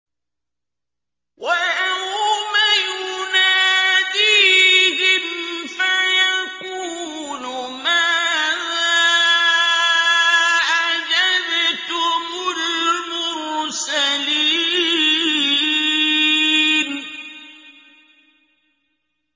وَيَوْمَ يُنَادِيهِمْ فَيَقُولُ مَاذَا أَجَبْتُمُ الْمُرْسَلِينَ